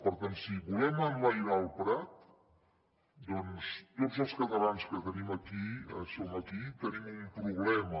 per tant si volem enlairar el prat doncs tots els catalans que som aquí tenim un problema